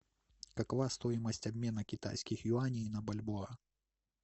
какова стоимость обмена китайских юаней на бальбоа